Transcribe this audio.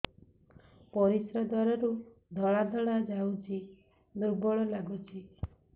ପରିଶ୍ରା ଦ୍ୱାର ରୁ ଧଳା ଧଳା ଯାଉଚି ଦୁର୍ବଳ ଲାଗୁଚି